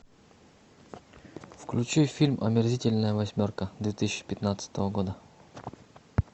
включи фильм омерзительная восьмерка две тысячи пятнадцатого года